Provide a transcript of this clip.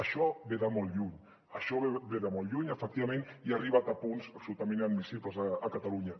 això ve de molt lluny això ve de molt lluny efectivament i ha arribat a punts absolutament inadmissibles a catalunya